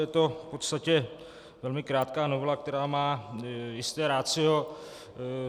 Je to v podstatě velmi krátká novela, která má jisté ratio.